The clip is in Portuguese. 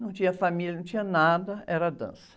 Não tinha família, não tinha nada, era dança.